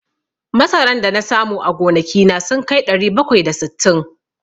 Masaran da na samu a gonaki na sun kai ɗari bakwai da sittin.